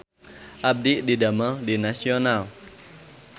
Abdi didamel di Nasional